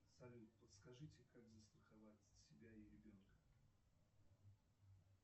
салют подскажите как застраховать себя и ребенка